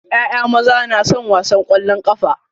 ƴaƴa maza na son wasan kwallon kafa.